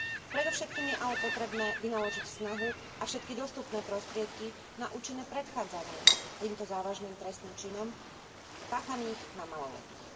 Predovšetkým je ale potrebné vynaložiť snahu a všetky dostupné prostriedky na účinné predchádzanie týmto závažným trestným činom páchaným na maloletých.